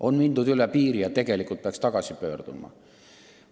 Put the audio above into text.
On mindud üle piiri ja tegelikult peaks tagasi pöörduma.